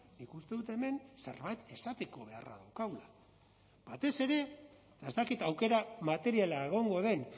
nik uste dut hemen zerbait esateko beharra daukagula batez ere eta ez dakit aukera materiala egongo den